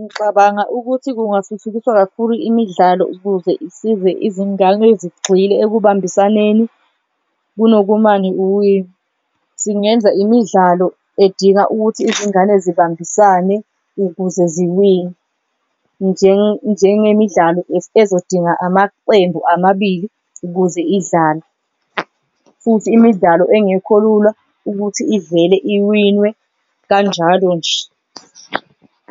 Ngixabanga ukuthi kungathuthukiswa kakhulu imidlalo ukuze isize izingane zigxile ekubambiseneni kunokumane uwine, singenza imidlalo edinga ukuthi izingane zibambisane ukuze ziwine njengemidlalo ezodinga amaqembu amabili ukuze idlalwe. Futhi imidlalo engekho lula ukuthi ivele iwinwe kanjalo nje